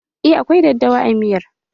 Eh, akwai daddawa a miyar